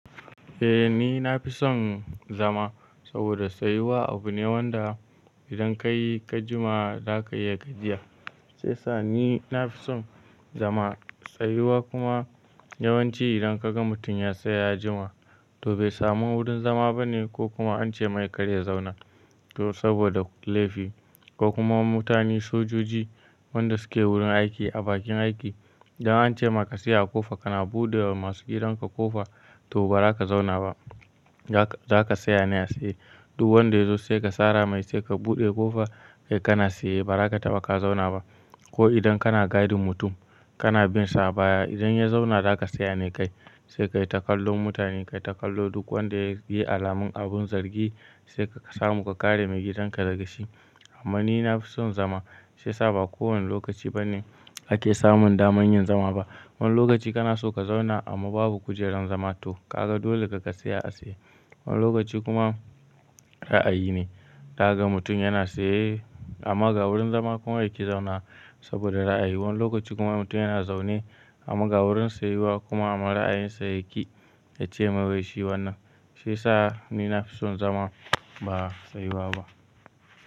Eh ni na fi son zama saboda tsayuwa abu ne wanda idan ka yi ka jima za ka iya ga jiya. Shiyasa ni na fi son zama, tsayuwa kuma ya wanci idan kaga mutum yatsaya ya jima toh bai samu wurin zama bane ko kuma ance kar ya zauna ko saboda laifi ko kuma mutane sojoji wanda suke wurin aiki a bakin aiki idan an ce maka tsaya a kofa kana buɗe wa masu gidanka kofa to ba za ka zauna ba. Za ka tsaya ne a tsaye duk wanda ya zo sai ka sara mai sai ka buɗe ƙofa kai kana tsaye ba za ka taɓa ka zauna ba. Ko idan kana gadin mutum kana bin sa baya idan ya zauna za ka tsaya ne kai sai ka yi takallon mutane, ka yi takallo duk wanda ya yi alamin abin zargi sai ka samu ka kare maigidanka daga shi. Amma ni na fi son zama sai sa ba kowane lokaci ba ne ake samun daman yin zama ba. Wani lokaci kana so ka zauna amma babu kujerar zama to kaga dole ka tsaya a tsaye. Wani lokaci kuma ra'ayi ne ka ga mutum yana tsaye amma ga wurin zama kuma yake zauna saboda ra'ayi. Wani lokaci kuma mutum yana zaune amman ga wurin tsayuwa kuma amman ra'ayinsa yaƙi yace wai shi wannan shiyasa ni na fi son zama ba tsayuwa ba.